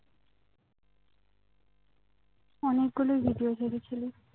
অনেকগুলোই ভিডিও ছেড়েছিলি